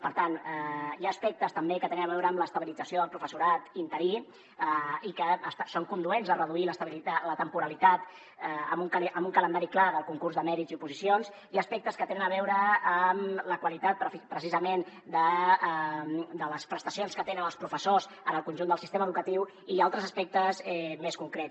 per tant hi ha aspectes també que tenen a veure amb l’estabilització del professorat interí i que són conduents a reduir la temporalitat amb un calendari clar del concurs de mèrits i oposicions hi ha aspectes que tenen a veure amb la qualitat precisament de les prestacions que tenen els professors en el conjunt del sistema educatiu i hi ha altres aspectes més concrets